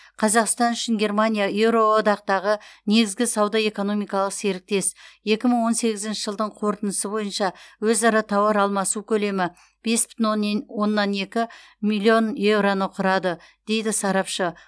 қазақстан үшін германия еуроодақтағы негізгі сауда экономикалық серіктес екі мың он сегізінші жылдың қорытындысы бойынша өзара тауар алмасу көлемі бес бүтін онен оннан екі миллиард еуроны құрады дейді сарапшы